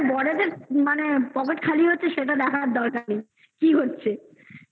হ্যাঁ, বরদের মানে, pocket খালি হচ্ছে, সেটা দেখার দরকার নেই. কি হচ্ছে?